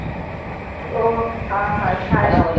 ઓહ હાં હાં થાય